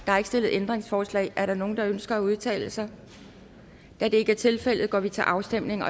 stillet ændringsforslag er der nogen der ønsker at udtale sig da det ikke tilfældet går vi til afstemning